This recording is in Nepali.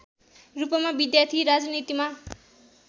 रूपमा विद्यार्थी राजनीतिमा